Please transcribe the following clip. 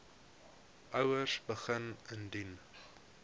ouers begin indien